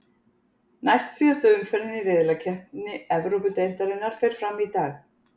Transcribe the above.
Næst síðasta umferðin í riðlakeppni Evrópudeildarinnar fer fram í dag.